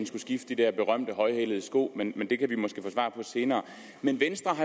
skulle skifte de der berømte højhælede sko men det kan vi måske få svar på senere men venstre